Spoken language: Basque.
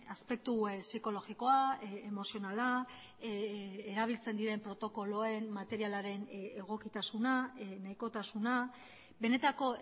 aspektu psikologikoa emozionala erabiltzen diren protokoloen materialaren egokitasuna nahikotasuna benetako